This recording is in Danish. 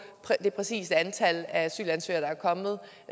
det præcise antal asylansøgere der er kommet